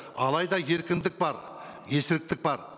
алайда еркіндік бар бар